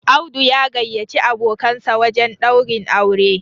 Audu ya gayyaci abokansa wajen daurin aure